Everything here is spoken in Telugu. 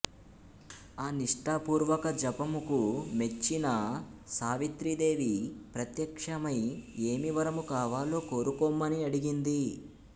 ఆ నిష్టాపూర్వక జపముకు మెచ్చిన సావిత్రీదేవి ప్రత్యక్షమై ఏమి వరము కావాలో కోరుకొమ్మని అడిగింది